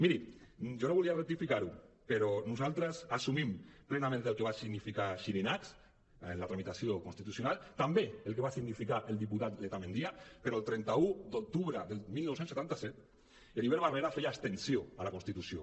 miri jo no volia rectificar ho però nosaltres assumim plenament el que va significar xirinacs en la tramitació constitucional també el que va significar el diputat letamendia però el trenta un d’octubre del dinou setanta set heribert barrera feia abstenció a la constitució